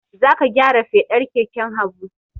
Za ka gyara fedar keken Habu!